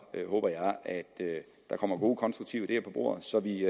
håber jeg at der kommer gode og konstruktive ideer på bordet så vi